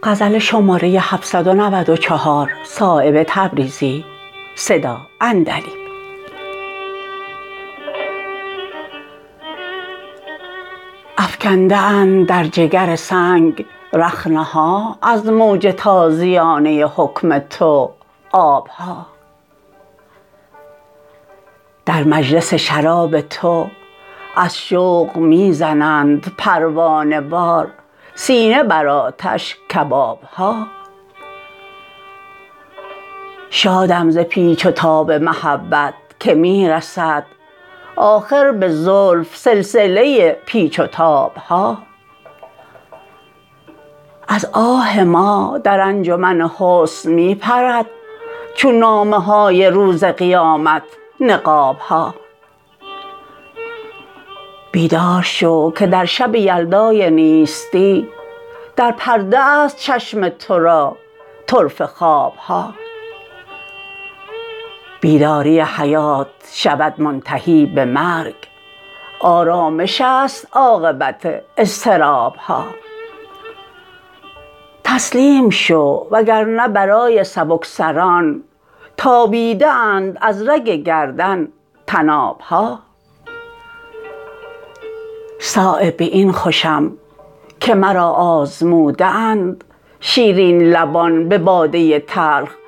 ای حسن پرده سوز تو برق نقاب ها روی عرق فشان تو سیل حجاب ها از نقطه های خال تو در هر نظاره ای بیرون نوشته حرف شناسان کتاب ها از انفعال روی تو گل های شوخ چشم بر پیرهن فشانده مکرر گلاب ها در رشته می کشند گهرهای آبدار در موج خیز حسن تو دام سراب ها افکنده اند در جگر سنگ رخنه ها از موج تازیانه حکم تو آب ها در مجلس شراب تو از شوق می زنند پروانه وار سینه بر آتش کباب ها شادم ز پیچ و تاب محبت که می رسد آخر به زلف سلسله پیچ و تاب ها از آه ما در انجمن حسن می پرد چون نامه های روز قیامت نقاب ها بیدار شو که در شب یلدای نیستی دربرده است چشم تو را طرفه خواب ها بیداری حیات شود منتهی به مرگ آرامش است عاقبت اضطراب ها تسلیم شو وگرنه برای سبکسران تابیده اند از رگ گردن طناب ها صایب به این خوشم که مرا آزموده اند شیرین لبان به باده تلخ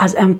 عتاب ها